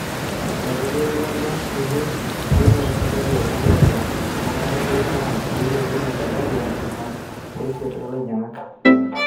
Eitodolua ilo turur enkilepunoto esajati e onom oonguan pebaiki entrion nabo eilepunye esajati e onom o isiet olainyangak